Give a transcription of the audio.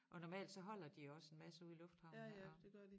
Og normalt så holder de også en masse ude i lufthavnen og